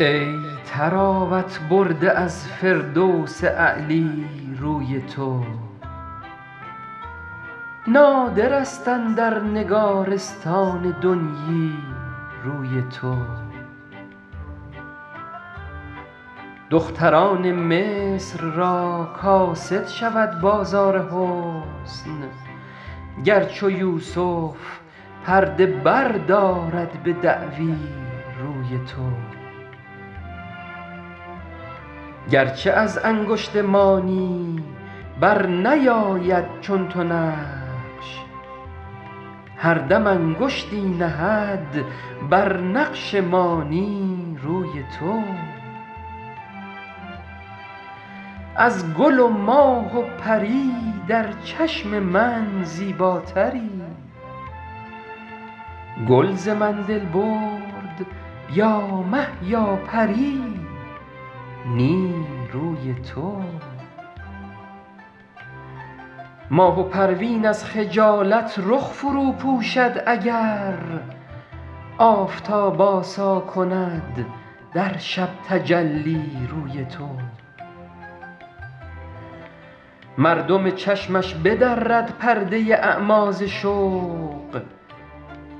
ای طراوت برده از فردوس اعلی روی تو نادر است اندر نگارستان دنیی روی تو دختران مصر را کاسد شود بازار حسن گر چو یوسف پرده بردارد به دعوی روی تو گر چه از انگشت مانی بر نیاید چون تو نقش هر دم انگشتی نهد بر نقش مانی روی تو از گل و ماه و پری در چشم من زیباتری گل ز من دل برد یا مه یا پری نی روی تو ماه و پروین از خجالت رخ فرو پوشد اگر آفتاب آسا کند در شب تجلی روی تو مردم چشمش بدرد پرده اعمی ز شوق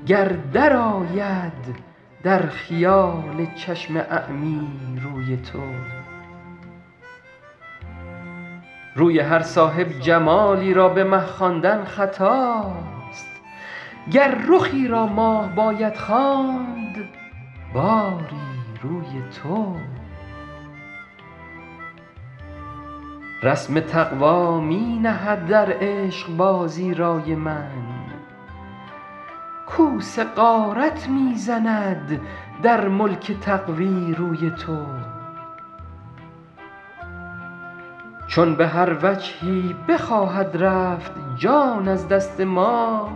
گر درآید در خیال چشم اعمی روی تو روی هر صاحب جمالی را به مه خواندن خطاست گر رخی را ماه باید خواند باری روی تو رسم تقوی می نهد در عشق بازی رای من کوس غارت می زند در ملک تقوی روی تو چون به هر وجهی بخواهد رفت جان از دست ما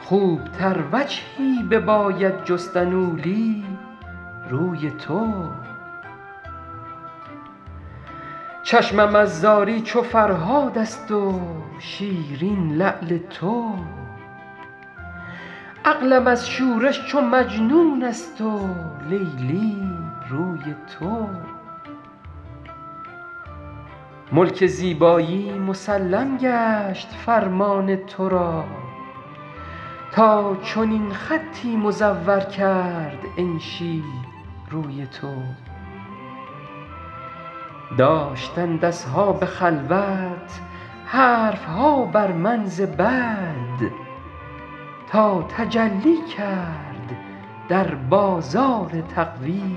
خوب تر وجهی بباید جستن اولی روی تو چشمم از زاری چو فرهاد است و شیرین لعل تو عقلم از شورش چو مجنون است و لیلی روی تو ملک زیبایی مسلم گشت فرمان تو را تا چنین خطی مزور کرد انشی روی تو داشتند اصحاب خلوت حرف ها بر من ز بد تا تجلی کرد در بازار تقوی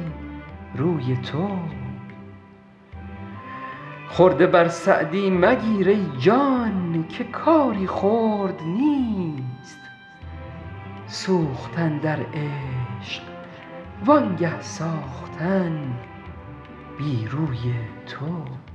روی تو خرده بر سعدی مگیر ای جان که کاری خرد نیست سوختن در عشق وانگه ساختن بی روی تو